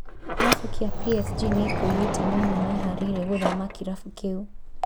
Kĩrabu kĩa PSG nĩkiugĩte Neymar nĩeharĩirie gũthama kĩrabu kĩu